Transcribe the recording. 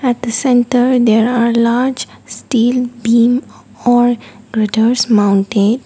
at the centre there are large steel beam or mounted.